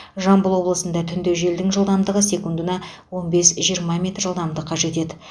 жамбыл облысында түнде желдің жылдамдығы секундына он бес жиырма метр жетеді